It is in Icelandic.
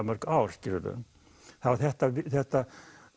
mörg ár það var þetta þetta